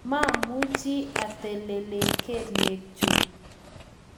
mamuchi atelelen kelyekchu